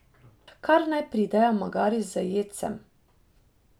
Kar naj pridejo, magari z jedcem.